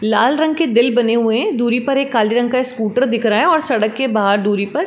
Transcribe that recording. लाल रंग के दिल बने हुए हैं। दूरी पर एक काले रंग का स्कूटर दिख रहा है और सड़क के बाहर दूरी पर--